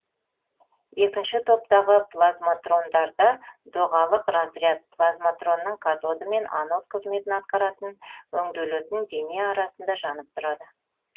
екінші топтағы плазматрондарда доғалық разряд плазматронның катоды мен анод қызметін атқаратын өңделетін дене арасында жанып тұрады